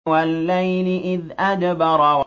وَاللَّيْلِ إِذْ أَدْبَرَ